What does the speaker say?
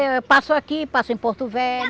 Eu passo aqui, passo em Porto Velho.